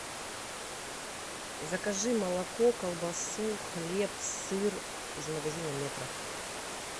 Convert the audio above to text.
закажи молоко колбасу хлеб сыр из магазина метро